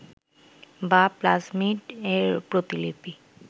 বা প্লাজমিড এর প্রতিলিপি